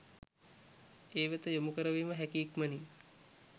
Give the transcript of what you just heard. ඒ වෙත යොමු කරවීම හැකි ඉක්මනින්